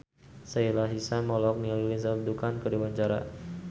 Sahila Hisyam olohok ningali Lindsay Ducan keur diwawancara